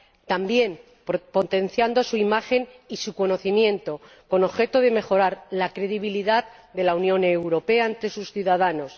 También, potenciando su imagen y su conocimiento con objeto de mejorar la credibilidad de la Unión Europea ante sus ciudadanos.